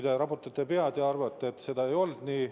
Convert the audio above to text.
Te raputate pead ja arvate, et see ei olnud nii.